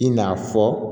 I n'a fɔ